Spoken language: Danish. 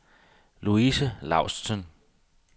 Louise Laustsen